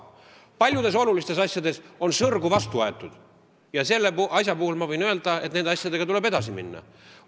Paljudes olulistes asjades on aga sõrgu vastu aetud ja selle peale ma tahan öelda, et nende asjadega tuleb edasi minna.